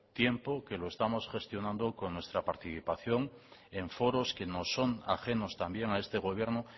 tiempo que lo estamos gestionando con nuestra participación en foros que nos son ajenos también a este gobierno